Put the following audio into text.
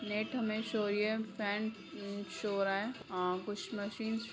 net हमें show हो रही है फैन उम शो हो रहा है अ कुछ मशीन --